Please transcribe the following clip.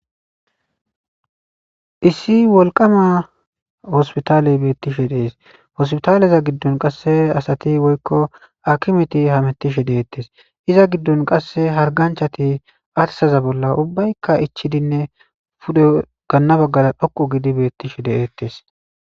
issi wolqama hospitaaley beettishe dees hospitaaleza giddon qasse asati woykko akimeti hamettishe deettes iza giddon qasse harganchati atsaza bolla ubbaykka ichidinne pude ganna baggala dhoqu gidi beettishe de7ettes